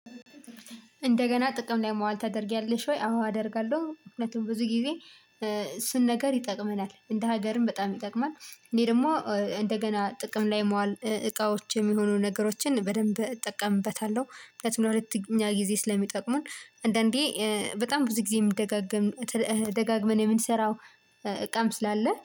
እንደገና ጥቅም ላይ ማዋል ታደርጊያለሽ ወይ? አዎ አደርጋለሁ ምክንያቱም ብዙ ጊዜ ስንነገር ይጠቅመናል እንደ ሀገርም በጣም ይጠቅማል። እኔ ደግሞ እንደገና ጥቅም ላይ ማዋል እቃዎች የሚሆኑ ነገሮችን በደንብ እጠቀምበታለሁ። ምክንያቱም ለሁለተኛ ጊዜ ስለሚጠቅሙን አንዳንዴ በጣም ብዙ ጊዜ የምደጋገም ደጋግመን የምንሰራው እቃም ስላለ